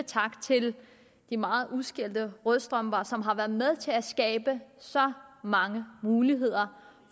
tak til de meget udskældte rødstrømper som har været med til at skabe så mange muligheder